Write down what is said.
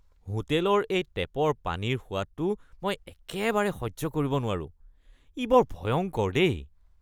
হোটেলৰ এই টেপৰ পানীৰ সোৱাদটো মই একেবাৰে সহ্য কৰিব নোৱাৰোঁ, ই বৰ ভয়ংকৰ দেই।